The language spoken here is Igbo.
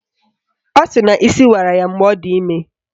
Ọ sịrị na isi wara ya mgbe ọ dị ime